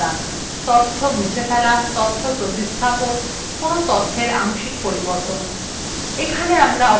তথ্য মুছে ফেলা তথ্য প্রতিস্থাপন কোন তথ্যের আংশিক পরিবর্তন